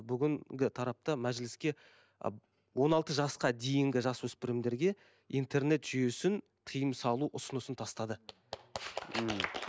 бүгінгі тарапта мәжіліске он алты жасқа дейінгі жасөспірімдерге интернет жүйесін тыйым салу ұсынысын тастады ммм